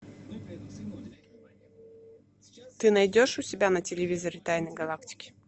ты найдешь у себя на телевизоре тайны галактики